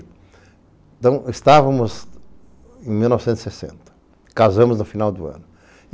Então, estávamos em mil novecentos e sessenta, casamos no final do ano.